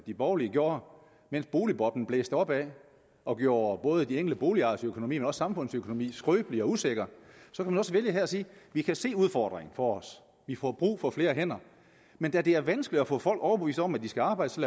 de borgerlige gjorde mens boligboblen blev blæst op og gjorde både de enkelte boligejeres økonomi og også samfundets økonomi skrøbelig og usikker her at sige vi kan se udfordringen for os vi får brug for flere hænder men da det er vanskeligt at få folk overbevist om at de skal arbejde så